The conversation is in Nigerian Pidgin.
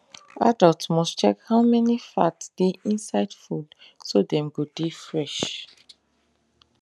adult must check how many fat dey inside food so dem go dey fresh